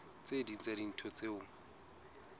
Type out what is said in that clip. tse ding tsa dintho tseo